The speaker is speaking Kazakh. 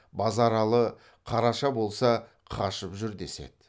базаралы қараша болса қашып жүр деседі